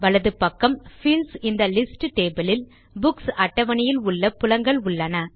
வலது பக்கம் fields in the list table இல் புக்ஸ் அட்டவணையில் உள்ள புலங்கள் உள்ளன